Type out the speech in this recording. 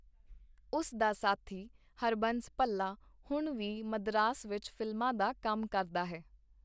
ਉਸ ਦਾ ਸਾਥੀ ਹਰਬੰਸ ਭਲੱਾ ਹੁਣ ਵੀ ਮਦਰਾਸ ਵਿਚ ਫ਼ਿਲਮਾਂ ਦਾ ਕੰਮ ਕਰਦਾ ਹੈ.